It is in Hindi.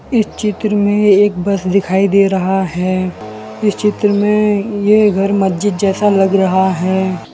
इस चित्र में एक बस दिखाई दे रहा है इस चित्र में ये घर मस्जिद जैसा लग रहा है।